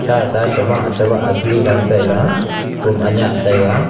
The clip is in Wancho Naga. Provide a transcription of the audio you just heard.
sa chawah chawah thrang taila kum anya taiga.